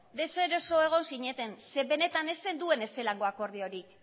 deseroso egon zineten zeren eta benetan ez zenuten ezelango akordiorik